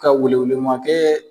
Ka welewele ma kɛ